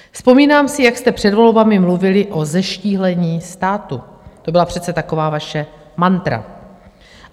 Vzpomínám si, jak jste před volbami mluvili o zeštíhlení státu, to byla přece taková vaše mantra.